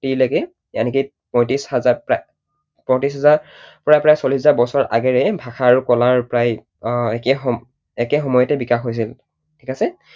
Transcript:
forty ৰ লৈকে পয়ত্ৰিশ হাজাৰৰ পৰা প্ৰায় চল্লিশ হাজাৰ বছৰ আগেৰে ভাষা আৰু কলাৰ প্ৰায় একে সম একে সময়তে বিকাশ হৈছিল। ঠিক আছে?